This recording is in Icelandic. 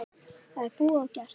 Það er búið og gert.